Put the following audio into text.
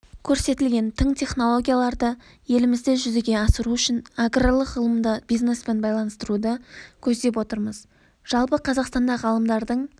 көрсетілген тың технологияларды елімізде жүзеге асыру үшін аграрлық ғылымды бизнеспен байланыстыруды көздеп отырмыз жалпы қазақстанда ғалымдардың